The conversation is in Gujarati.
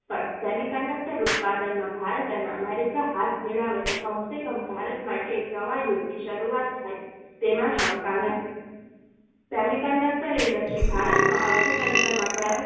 પર semiconductor ઉત્પાદનમાં ભારત અને America હાથ મિલાવે તો કમસેકમ ભારત માટે એક નવા યુગ ની શરૂઆત થાય છે તેમાં શંકા નથી semiconductor industries ભારતના અર્થતંત્રમાં